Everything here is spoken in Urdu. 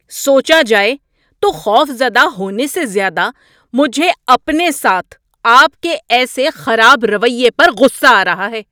سوچا جائے تو خوف زدہ ہونے سے زیادہ مجھے اپنے ساتھ آپ کے ایسے خراب رویے پر غصہ آ رہا ہے۔